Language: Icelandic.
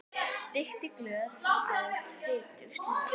Reykti glöð, át fitug slög.